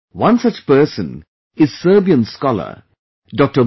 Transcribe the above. One such person is Serbian Scholar Dr